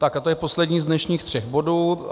Tak, a to je poslední z dnešních třech bodů.